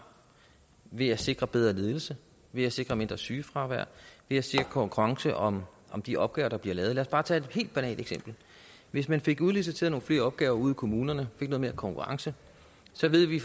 ved at sikre bedre ledelse ved at sikre mindre sygefravær ved at sikre konkurrence om de opgaver der bliver udbudt lad os bare tage et helt banalt eksempel hvis man fik udliciteret nogle flere opgaver ude i kommunerne fik noget mere konkurrence så ved vi